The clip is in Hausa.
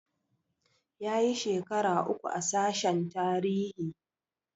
Yayi shekara uku a sashen tarihi